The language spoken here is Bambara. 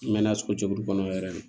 N mɛn na sogo jɛkulu kɔnɔ yɛrɛ de